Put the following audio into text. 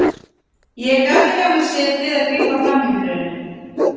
Ég gat ekki á mér setið að grípa fram í fyrir henni.